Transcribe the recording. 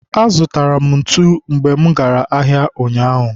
azụtara m ntu mgbe mụ gara ahịa ụnyaahụ.